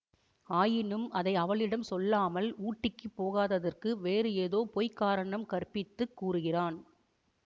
ஆயினும் அதை அவளிடம் சொல்லாமல் ஊட்டிக்குப் போகாததற்கு வேறு ஏதோ பொய் காரணம் கற்பித்துக் கூறுகிறான்